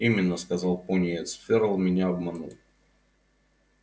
именно сказал пониетс ферл меня обманул